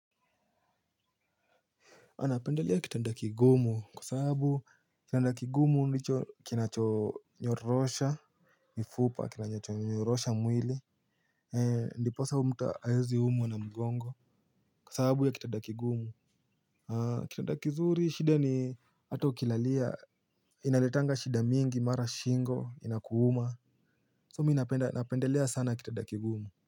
Huwa napendelea kitanda kigumu kwa sababu kitanda kigumu ndicho kinachonyorosha mifupa kinachonyorosha mwili. Ndipo sasa mtu hawezi umwa na mgongo kwa sababu ya kitanda kigumu. Kitanda kizuri shida ni hata ukilalia inaletanga shida mingi mara shingo inakuuma So mimi napendelea sana kitanda kigumu.